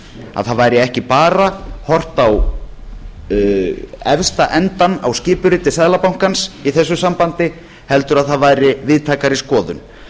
að það væri ekki bara horft á efsta endann á skipuriti seðlabankans í þessu sambandi heldur að það væri víðtækari skoðun